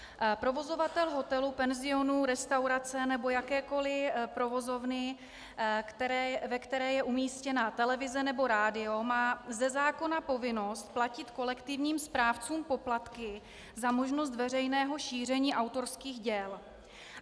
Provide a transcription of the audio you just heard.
Provozovatel hotelu, penzionu, restaurace nebo jakékoliv provozovny, ve které je umístěna televize nebo rádio, má ze zákona povinnost platit kolektivním správcům poplatky za možnost veřejného šíření autorských děl.